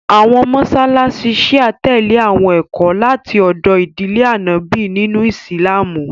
Àwọn mọṣáláṣí Shia tẹlè àwọn ẹ̀kọ́ láti ọdọ̀ ìdílé Ànọ́bì nínú Ìsìlámù